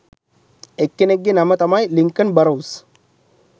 එක්කෙනෙක්ගේ නම තමයි Lincoln Burrows